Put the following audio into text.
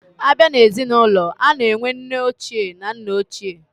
Abia na ezi na ulo, ana enwe nne oche na nna oche.